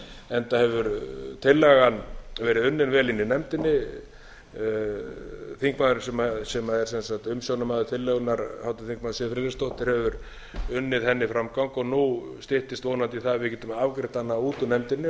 enda hefur tillagan verið unnin vel inni í nefndinni þingmaðurinn sem er umsjónarmaður tillögunnar háttvirtur þingmaður siv friðleifsdóttir hefur náð henni framgang nú styttist vonandi í það að við getum afgreitt hana út úr nefndinni